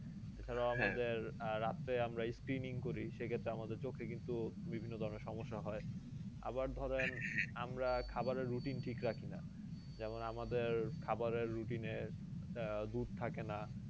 এছাড়াও আহ রাত্রে আমরা speening করি সেক্ষেত্রে আমাদের চোখে কিন্তু বিভিন্ন ধরণের সমস্যা হয়, আবার ধরেন আমরা খাবারের routine ঠিক রাখিনা যেমন আমাদের খাবারের routine এ আহ দুধ থাকে না